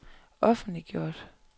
offentliggjort